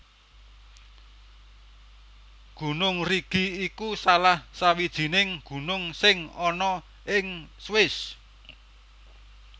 Gunung Rigi iku salah sawijining gunung sing ana ing Swiss